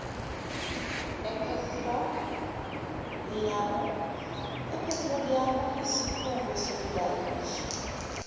ephethroliyamu isikhungo sokulayisha